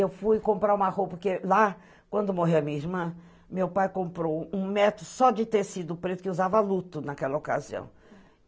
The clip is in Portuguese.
Eu fui comprar uma roupa que... Lá, quando morreu a minha irmã, meu pai comprou um metro só de tecido preto, que usava luto naquela ocasião.